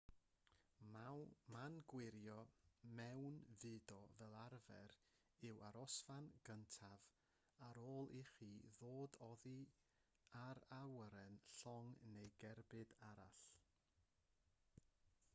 man gwirio mewnfudo fel arfer yw'r arosfan gyntaf ar ôl i chi ddod oddi ar awyren llong neu gerbyd arall